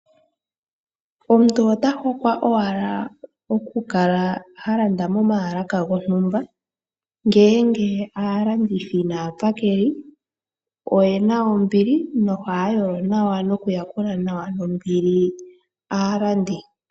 Omuntu ota hokwa owala okukala alanda momalaka gontumba ngenge alandithi naapakeli ohaya yolo nawa ono kuyala nawa nombili aalandi.